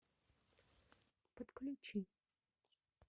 подключи